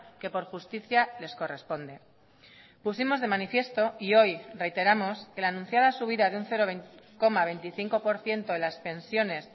que por justicia les corresponde pusimos de manifiesto y hoy reiteramos que la anunciada subida de un cero coma veinticinco por ciento en las pensiones